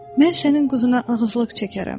Mən sənin qızına ağızluq çəkərəm.